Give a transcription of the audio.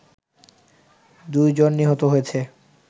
দুইজন নিহত হয়েছে